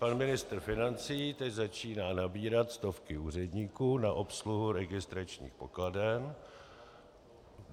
Pan ministr financí teď začíná nabírat stovky úředníků na obsluhu registračních pokladen.